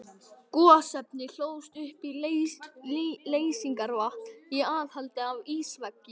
Gosefnin hlóðust upp í leysingarvatni í aðhaldi af ísveggjum.